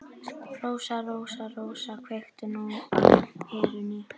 Rósa, Rósa, Rósa, kveiktu nú á perunni.